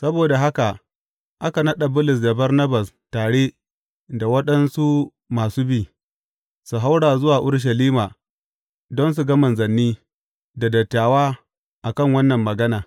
Saboda haka aka naɗa Bulus da Barnabas tare da waɗansu masu bi, su haura zuwa Urushalima don su ga manzanni da dattawa a kan wannan magana.